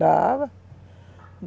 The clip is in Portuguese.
Dava.